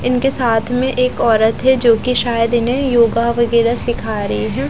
इनके साथ में एक औरत हैं जो कि शायद इन्हें योगा वगैरह सीखा रही है --